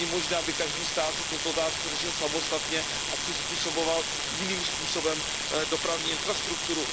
Není možné, aby každý stát si tuto otázku řešil samostatně a přizpůsoboval jiným způsobem dopravní infrastrukturu.